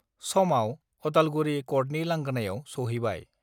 समाव अदालगुरि कर्टनि लांगोनायाव सहैबाय